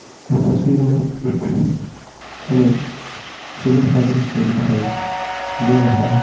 इस तस्वीर मे ]>हमें सुबह का दृश्य दिखाई ]>दे रहा है ।